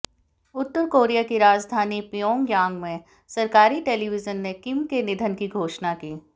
उत्तर Korea की राजधानी Pyongyang में सरकारी टेलीविजन ने किम के निधन की घोषणा की